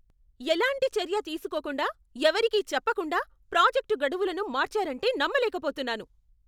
ఎలాంటి చర్య తీసుకోకుండా, ఎవరికీ చెప్పకుండా ప్రాజెక్ట్ గడువులను మార్చారంటే నమ్మలేకపోతున్నాను.